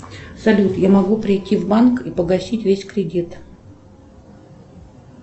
салют я могу прийти в банк и погасить весь кредит